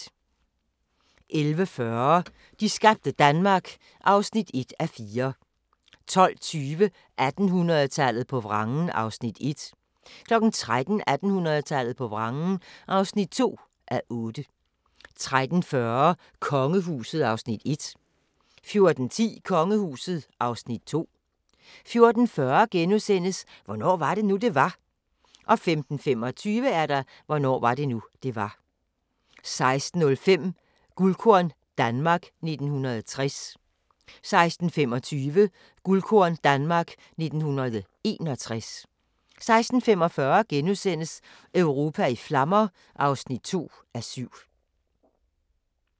11:40: De skabte Danmark (1:4) 12:20: 1800-tallet på vrangen (1:8) 13:00: 1800-tallet på vrangen (2:8) 13:40: Kongehuset (Afs. 1) 14:10: Kongehuset (Afs. 2) 14:40: Hvornår var det nu, det var? * 15:25: Hvornår var det nu, det var? 16:05: Guldkorn - Danmark 1960 16:25: Guldkorn - Danmark 1961 16:45: Europa i flammer (2:7)*